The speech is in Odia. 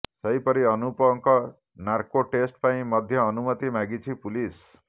ସେହିପରି ଅନୁପଙ୍କ ନାର୍କୋ ଟେଷ୍ଟ ପାଇଁ ମଧ୍ୟ ଅନୁମତି ମାଗିଛି ପୁଲିସ୍